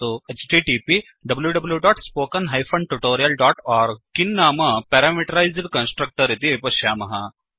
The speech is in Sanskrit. httpwwwspoken tutorialओर्ग किं नाम प्यारामीटरैस्ड् कन्स्ट्रक्टर् इति पश्यामः